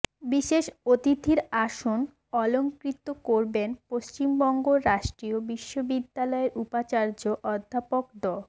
বিশেষ অতিথির আসন অলংকৃত করবেন পশ্চিমবঙ্গ রাষ্ট্রীয় বিশ্ববিদ্যালয়ের উপাচার্য অধ্যাপক ড